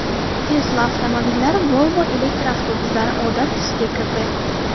Tesla avtomobillari, Volvo elektr avtobuslari odat tusiga kirdi.